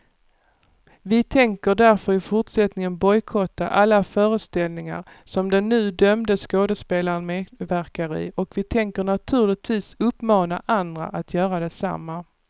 Vi tänker därför i fortsättningen bojkotta alla föreställningar som den nu dömde skådespelaren medverkar i och vi tänker naturligtvis uppmana andra att göra detsamma.